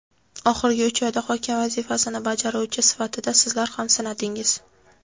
oxirgi uch oyda hokim vazifasini bajaruvchi sifatida sizlar ham sinadingiz.